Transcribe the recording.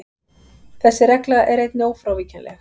Þessi regla er einnig ófrávíkjanleg.